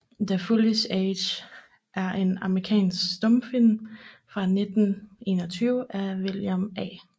The Foolish Age er en amerikansk stumfilm fra 1921 af William A